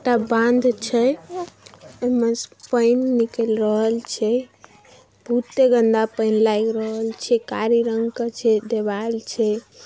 टा बाँध छै और उनमे से पानी निकल रहल छे बहुते गन्दा पानी लगी रहल छै कारे रंग का छे दीवाल छे।